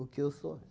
que eu sou?